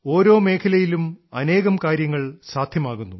ഓരോ മേഖലയിലും അനേകം കാര്യങ്ങൾ സാധ്യമാകുന്നു